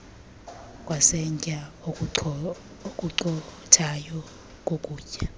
kwesantya okucothayo kokutya